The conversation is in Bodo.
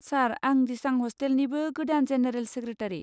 सार, आं दिसां हस्टेलनिबो गोदान जेनेरेल सेक्रेटारि।